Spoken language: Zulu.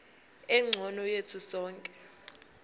engcono yethu sonke